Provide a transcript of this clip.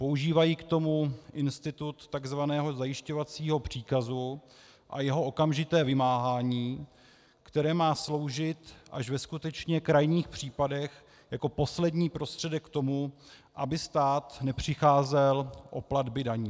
Používají k tomu institut tzv. zajišťovacího příkazu a jeho okamžité vymáhání, které má sloužit až ve skutečně krajních případech jako poslední prostředek k tomu, aby stát nepřicházel o platby daní.